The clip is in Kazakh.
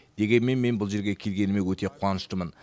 дегенмен мен бұл жерге келгеніме өте қуаныштымын